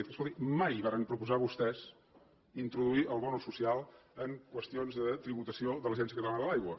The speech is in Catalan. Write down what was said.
escolti mai varen proposar vostès introduir el bo social en qüestions de tributació de l’agència catalana de l’aigua